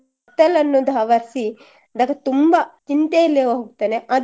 ಕತ್ತಲನ್ನೋದು ಆವರ್ಸಿ ತುಂಬ ಚಿಂತೆಯಲ್ಲೇ ಹೋಗ್ತಾನೆ